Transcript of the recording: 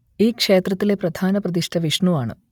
ഈ ക്ഷേത്രത്തിലെ പ്രധാന പ്രതിഷ്ഠ വിഷ്ണു ആണ്